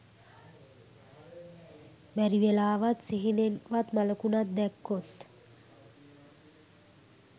බැරිවෙලාවත් සිහිනෙන් වත් මළකුණක් දැක්කොත්